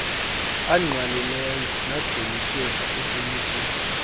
angqalileyo najoliswe ekumisweni